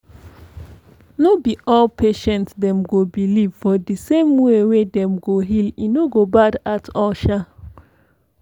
no be all patients dem go believe for di same way wey dem go heal e no go bad at all sha.